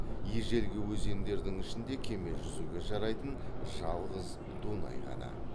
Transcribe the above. ежелгі өзендердің ішінде кеме жүзуге жарайтын жалғыз дунай ғана